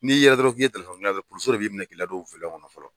N'i yera dɔrɔn k'i ye telefɔni dilana ye dɔrɔn polosiw yɛrɛ bi minɛ ki ladon kɔnɔ fɔlɔ.